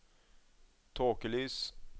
tåkelys